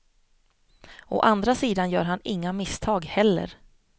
Å andra sidan gör han inga misstag heller.